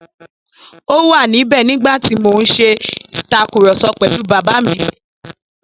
Ó wà níbẹ̀ nígbà tí mo ń ṣe ìtàkurọ̀sọ pẹ̀lú Bàbá mi.